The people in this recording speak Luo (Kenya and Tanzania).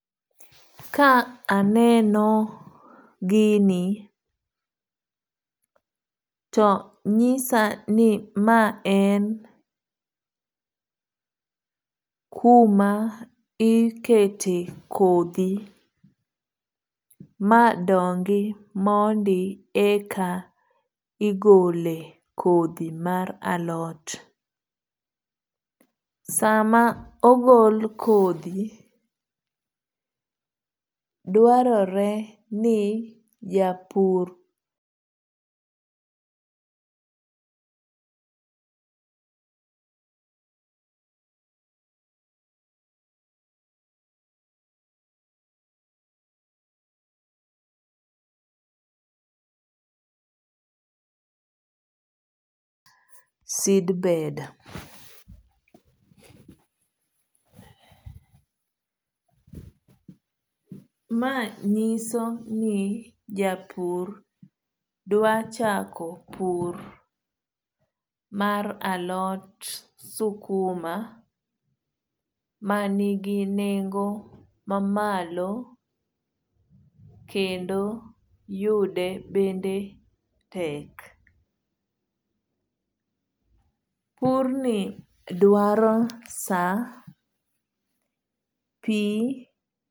Ka aneno gini to nyisa ni ma en kuma ikete kodhi ma dongi mondi eka igole kodhi mar alot. Sama ogol kodhi, dwarore ni japur seedbed. Ma nyiso ni japur dwa chako pur mar alot sukuma ma nigi nengo ma malo kendo yude bende tek. Purni dwaro sa, pi.